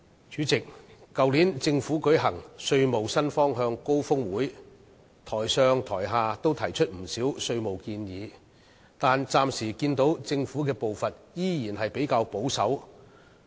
主席，在政府去年舉行稅務新方向高峰會時，台上台下也提出了不少稅務建議，但我暫時看到政府的步伐仍然較為保守。